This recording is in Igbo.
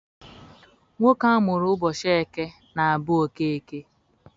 Nwoke amụrụ ụbọchị eke na-abụ Okeke.